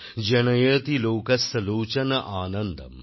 জনয়তি লোকস্যা লোচন আনন্দম